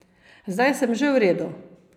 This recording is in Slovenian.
Zdaj sem že v redu.